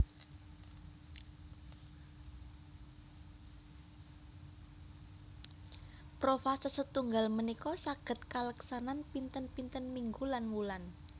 Profase setunggal punika saged kaleksanan pinten pinten minggu lan wulan